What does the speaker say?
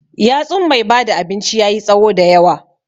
yatsun mai bada abinci yayi tsawo da yawa.